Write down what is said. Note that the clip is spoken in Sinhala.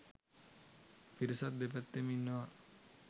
පිරිසක් දෙපැත්තෙම ඉන්නවා.